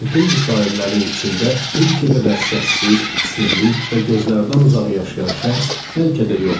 Bütün bu şairlərin içində Rilke qədər səssiz, sirli və gözlərdən uzaq yaşayan şəxs bəlkə də yoxdur.